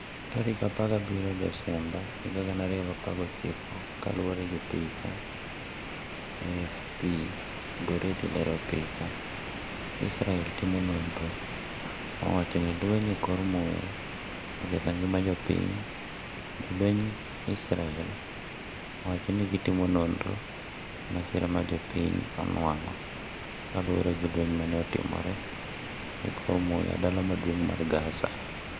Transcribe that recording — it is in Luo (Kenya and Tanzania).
17 Novemba 2019 Kaluore gi picha, AFP/Getty lero picha, Israel timo nonro ma wachore ni lweny e kor muya oketho ngima jopiny Jolwenj Israel owacho ni gi timo nonro e masira ma jopiny onwang'o lauore gi lweny mane otimore e kor muya Dala Maduong' mar Gaza.